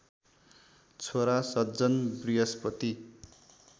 छोरा सज्जन बृहस्पति